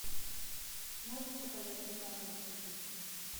можешь показать ньюкасл сити